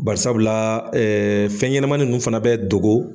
Barisabula fɛnɲɛnɛmanin ninnu fana bɛ dogo.